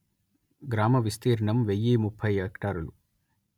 గ్రామ విస్తీర్ణం వెయ్యి ముప్పై హెక్టారులు